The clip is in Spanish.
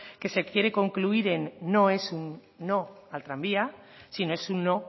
que se quiere concluir en no es un no al tranvía sino es un no